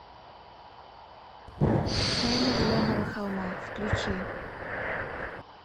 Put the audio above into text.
тайна зеленого холма включи